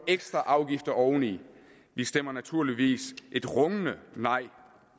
ekstra afgifter oveni vi stemmer naturligvis et rungende nej